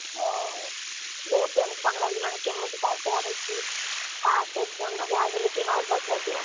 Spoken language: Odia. ଓ ବହୁତ୍ tension ଲାଗିଲାଣି କେମିତି କଣ ପଢିକି, first exam ନା ଯାହାବି ହେଲେ ଟିକେ nervous ଲାଗିବ।